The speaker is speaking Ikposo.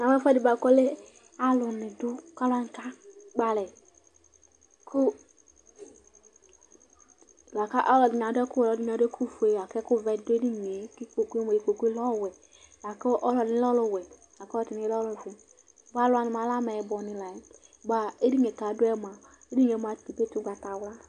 Namʋ ɛfʋɛdɩ bʋakʋ alʋnɩ adʋ kʋ akakpɔalɛ Alʋ ɛdɩnɩ adʋ ɛkʋwɛ, alʋɛdɩnɩ adʋ ɛkʋfue Lakʋ ɛkʋvɛ dɩ ɔdʋ edini yɛ Ikpoku bɩ dʋ edini yɛ kʋ alɛ ɔwɛ Alʋ wanɩ bʋakʋ adʋ edini yɛ li mʋa, alɛ ɛtʋfue nʋ ɛtʋwɛ alʋ nɩ Bʋa alʋwanɩ kʋ adʋ edini yɛ alɛ alʋwɛ Edini ye etsikǝ igbatawla